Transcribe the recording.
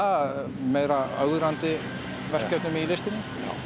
meira ögrandi verkefnum í listinni